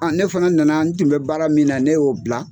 An ne fana nana n tun bɛ baara min na ne y'o bila.